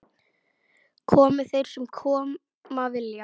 Komi þeir sem koma vilja-?